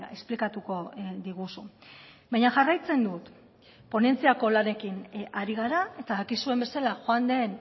esplikatuko diguzu baina jarraitzen dut ponentziako lanekin ari gara eta dakizuen bezala joan den